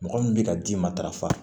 Mɔgɔ min bɛ ka d'i ma darafa